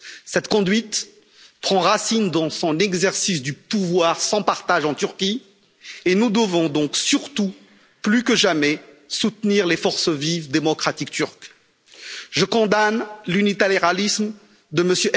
Cette conduite prend racine dans son exercice du pouvoir sans partage en Turquie et nous devons donc surtout, plus que jamais, soutenir les forces vives démocratiques turques. Je condamne l'unilatéralisme de M.